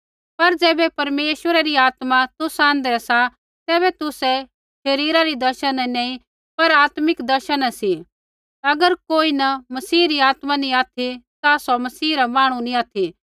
पर ज़ैबै परमेश्वरा री आत्मा तुसा आँध्रै सा तैबै तुसै शरीरा री दशा न नैंई पर आत्मिक दशा न सी अगर कोई न मसीह री आत्मा नैंई ऑथि ता सौ मसीह रा मांहणु नैंई ऑथि